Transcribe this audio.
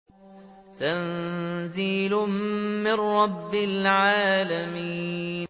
تَنزِيلٌ مِّن رَّبِّ الْعَالَمِينَ